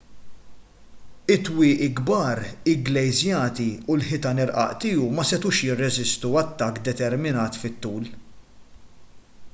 it-twieqi kbar igglejżjati u l-ħitan irqaq tiegħu ma setgħux jirreżistu attakk determinat fit-tul